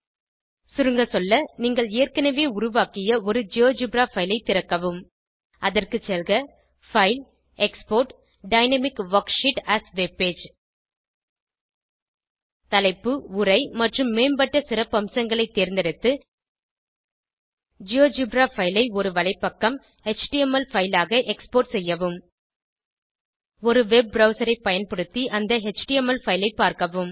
சுருங்க சொல்ல நீங்கள் ஏற்கனவே உருவாக்கிய ஒரு ஜியோஜெப்ரா பைல் ஐ திறக்கவும் அதற்கு செல்க பைல் ஜிடெக்ஸ்போர்ட் ஜிடி டைனாமிக் வர்க்ஷீட் ஏஎஸ் வெப்பேஜ் தலைப்பு உரை மற்றும் மேம்பட்ட சிறப்பம்சங்களை தேர்ந்தெடுத்து ஜியோஜெப்ரா பைல் ஐ ஒரு வலைப்பக்கம் எச்டிஎம்எல் பைல் ஆக எக்ஸ்போர்ட் செய்யவும் ஒரு வெப் ப்ரவ்சர் ஐ பயன்படுத்தி அந்த எச்டிஎம்எல் பைல் ஐ பார்க்கவும்